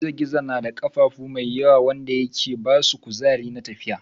gizo-gizo na da kafafu mai yawa wanda yake basu kuzari na tafiya.